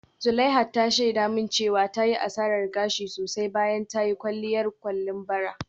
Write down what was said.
Zuleihat ta shaida min cewa ta yi asarar gashi sosai bayan ta yi kwalliyar kwalin bara.